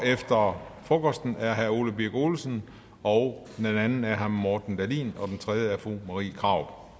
efter frokosten er herre ole birk olesen og den anden er herre morten dahlin og den tredje er fru marie krarup